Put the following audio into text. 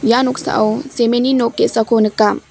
ia noksao cement-ni nok ge·sako nika.